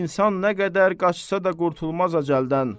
İnsan nə qədər qaçsa da qurtulmaz əcəldən.